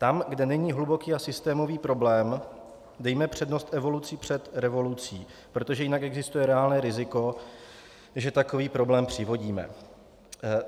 Tam, kde není hluboký a systémový problém, dejme přednost evoluci před revolucí, protože jinak existuje reálné riziko, že takový problém přivodíme.